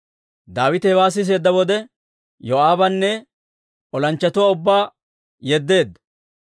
Daawite hewaa siseedda wode, Yoo'aabanne olanchchatuwaa ubbaa yeddeedda.